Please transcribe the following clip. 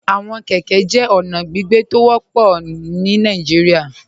Awọn kẹkẹ jẹ ọna gbígbẹ̀ tó ó wọpọ̀ pupọ̀ ní Nàìjíríà.